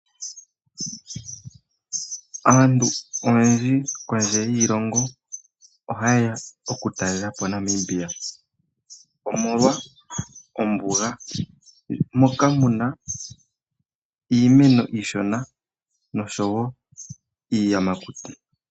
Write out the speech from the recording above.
Aantu oyendji kondje yiilongo oha yeya okutalelapo Namibia, omolwa ombuga moka muna iimeno iishona nosho wo iiyamakuti.